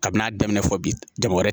Kabini a daminɛ fɔ bi jago wɛrɛ